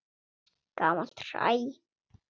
Gamalt hræ.